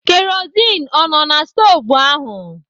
Kerozin ọ nọ na na stovu ahụ?